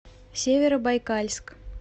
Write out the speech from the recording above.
северобайкальск